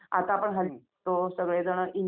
हो हो करू शकतो की.